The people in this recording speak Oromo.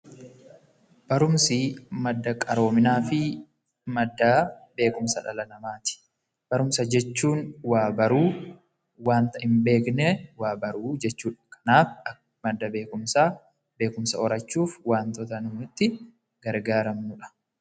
Barumsi madda qaroominaa fi madda beekumsa dhala namaa ti. Barumsa jechuun waa baruu, wanta hin beekne waa baruu jechuu dha. Kanaaf, madda beekumsaa, beekumsa horachuuf, wantoota nu itti gargaaramnuu dha.